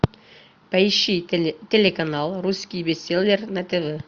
поищи телеканал русский бестселлер на тв